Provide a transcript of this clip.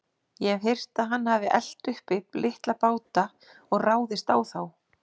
Ég hef heyrt að hann hafi elt uppi litla báta og ráðist á þá.